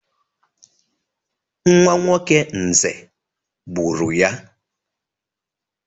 Nwa nwoke Nze gburu ya.